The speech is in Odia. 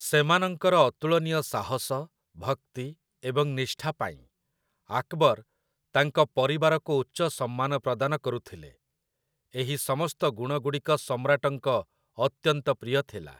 ସେମାନଙ୍କର ଅତୁଳନୀୟ ସାହସ, ଭକ୍ତି ଏବଂ ନିଷ୍ଠା ପାଇଁ ଆକବର ତାଙ୍କ ପରିବାରକୁ ଉଚ୍ଚ ସମ୍ମାନ ପ୍ରଦାନ କରୁଥିଲେ। ଏହି ସମସ୍ତ ଗୁଣଗୁଡ଼ିକ ସମ୍ରାଟଙ୍କ ଅତ୍ୟନ୍ତ ପ୍ରିୟ ଥିଲା ।